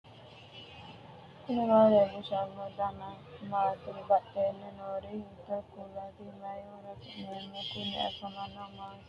knuni maa leellishanno ? danano maati ? badheenni noori hiitto kuulaati ? mayi horo afirino ? kuni foonchu maa assinannihoikka